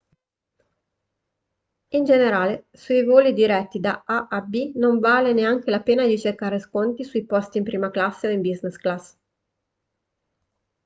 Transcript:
in generale sui voli diretti da a a b non vale neanche la pena di cercare sconti sui posti in prima classe o in business class